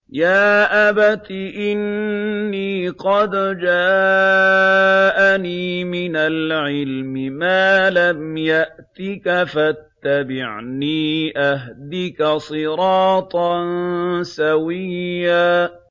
يَا أَبَتِ إِنِّي قَدْ جَاءَنِي مِنَ الْعِلْمِ مَا لَمْ يَأْتِكَ فَاتَّبِعْنِي أَهْدِكَ صِرَاطًا سَوِيًّا